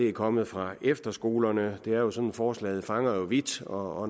er kommet fra efterskolerne det er jo sådan at forslaget favner vidt og